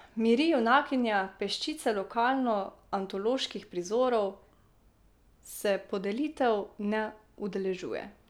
Miri, junakinja peščice lokalno antoloških prizorov, se podelitev ne udeležuje.